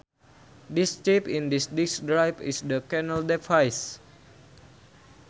This chip in this disk drive is the channel device